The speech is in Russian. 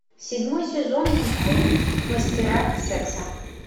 седьмой сезон мультфильм мастера секса